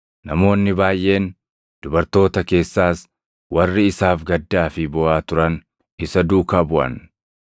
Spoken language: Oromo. Namoonni baayʼeen, dubartoota keessaas warri isaaf gaddaa fi booʼaa turan isa duukaa buʼan.